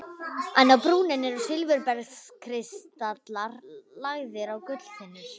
En á brúninni eru silfurbergskristallar lagðir á gullþynnur.